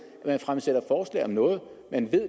at man fremsætter forslag om noget man